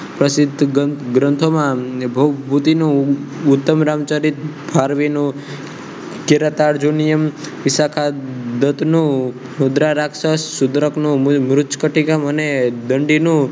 પ્રસિદ્ધ ગ્રંથોમાં ભભૂતિનો ઉત્તમ રામચરિત ભારવીનો કેરાતા અર્જુનનો નિયમ ઇશાખા દૂધનો મુદ્રા રાક્ષસ ગુજરાતનો મોજ કરટીકા અને દંડીનો મને